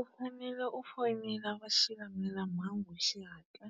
U fanele u fonela va xilamulelamhangu hi xihatla